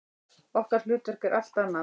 Okkar hlutverk er allt annað.